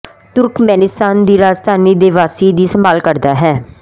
ਤੁਰਕਮੇਨਿਸਤਾਨ ਦੀ ਰਾਜਧਾਨੀ ਦੇ ਵਾਸੀ ਦੀ ਸੰਭਾਲ ਕਰਦਾ ਹੈ